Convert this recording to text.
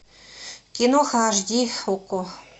киноха аш ди окко